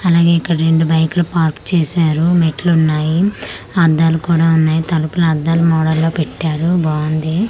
అలాగే ఇక్కడ రెండు బైక్ లు పార్క్ చేసారు మెట్లు ఉన్నాయి అద్దాలు కూడా ఉన్నాయి తలుపులు అద్దాల మోడల్ లో పెట్టారు బాగుంది.